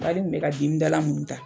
Ali n tun bɛ ka dimidala munnu ta